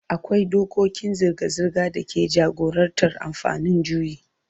Akwai dokokin zirga-zirga da ke jagorantar amfani da juyi.